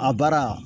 A baara